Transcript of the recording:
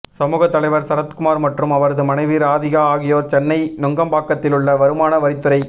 சமக தலைவர் சரத்குமார் மற்றும் அவரது மனைவி ராதிகா ஆகியோர் சென்னை நுங்கம்பாக்கத்திலுள்ள வருமான வரித்துறை